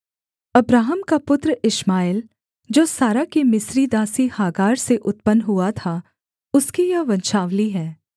Abraham का पुत्र Ishmael जो सारा की मिस्री दासी हागार से उत्पन्न हुआ था उसकी यह वंशावली है